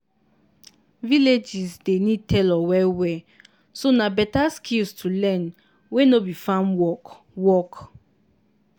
villages dey need tailor well-well so na better skills to learn wey no be farm work. work.